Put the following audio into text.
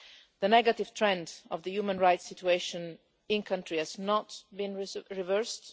The negative trend of the human rights situation in the country has not been reversed.